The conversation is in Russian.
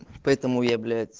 поэтому я блять